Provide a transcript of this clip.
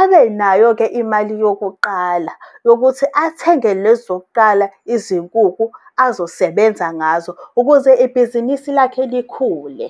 abenayo-ke imali yokuqala, yokuthi athenge lezo zokuqala izinkukhu azosebenza ngazo ukuze ibhizinisi lakhe likhule